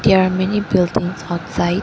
there are many buildings outside